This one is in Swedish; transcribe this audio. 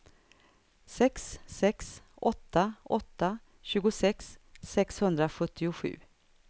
sex sex åtta åtta tjugosex sexhundrasjuttiosju